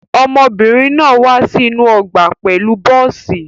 Ọmọbìnrin náà wá sí inú ọgbà pẹ̀lú bọ́ọ́sì.